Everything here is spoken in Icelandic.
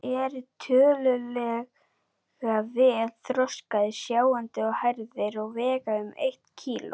Þeir eru tiltölulega vel þroskaðir, sjáandi og hærðir og vega um eitt kíló.